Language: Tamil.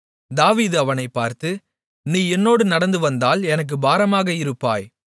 தாவீது அவனைப் பார்த்து நீ என்னோடு நடந்துவந்தால் எனக்குப் பாரமாக இருப்பாய்